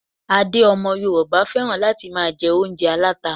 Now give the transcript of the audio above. Adé ọmọ Yorùbá féràn láti máa jẹ oúnjẹ aláta.